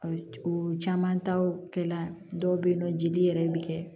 O caman ta o kɛla dɔw bɛ yen nɔ jeli yɛrɛ bɛ kɛ